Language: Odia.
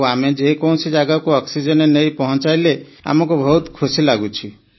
ଆଉ ଆମେ ଯେ କୌଣସି ଜାଗାକୁ ଅକ୍ସିଜେନ ନେଇ ପଞ୍ଚାଇଲେ ଆମକୁ ବହୁତ ଖୁସି ଲାଗୁଛି